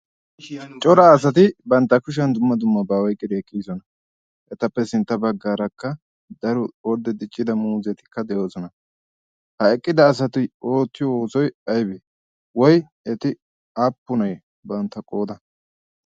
cora asati bantta kushiyan dumma dumma ba oyqqdi eqqidosona. etappe sintta baggaarakka daro orde diccida muuzetikka de'oosona. ha eqqida asati oottiyo oosoy aybee woy eti aappunay bantta qooda?